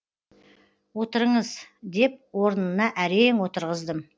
отырыңыз деп орынына әрең отырғыздым